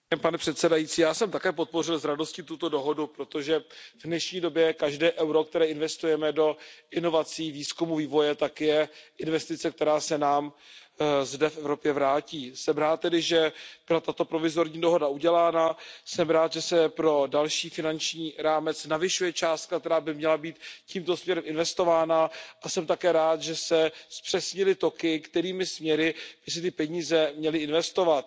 Pane předsedající, já jsem také s radostí podpořil tuto dohodu, protože v dnešní době každé euro, které investujeme do inovací, výzkumu, vývoje, tak je investice, která se nám zde v Evropě vrátí. Jsem tedy rád, že byla tato provizorní dohoda udělána, jsem rád, že se pro další finanční rámec navyšuje částka, která by měla být tímto směrem investována, a jsem také rád, že se zpřesnily toky, kterými směry by se ty peníze měly investovat.